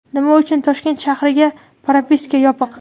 Nima uchun Toshkent shahriga propiska yopiq?